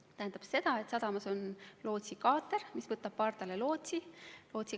See tähendab seda, et sadamas on lootsikaater, mis võtab pardale lootsi.